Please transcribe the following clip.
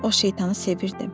Mən o şeytanı sevirdim.